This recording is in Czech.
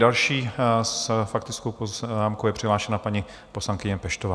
Další s faktickou poznámkou je přihlášena paní poslankyně Peštová.